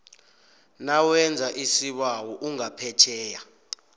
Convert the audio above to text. nawenza isibawo ungaphetjheya